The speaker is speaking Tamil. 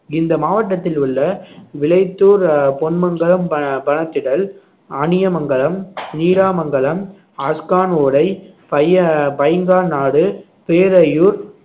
இந்த மாவட்டத்தில் உள்ள விளைத்தூர் அஹ் பொன்மங்கலம் ப~ பணத்திடல் அணியமங்கலம் நீராமங்கலம் அஸ்கான் ஓடை பைய~ பைங்கான் நாடு பேரையூர்